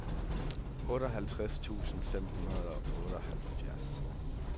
otteoghalvtreds tusind fem hundrede og otteoghalvfjerds